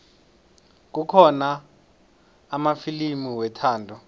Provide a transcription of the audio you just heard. kukhona amafilimu wethando